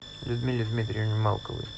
людмиле дмитриевне малковой